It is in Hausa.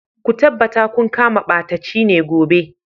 Ku tabbata kun kama ɓatacine gobe.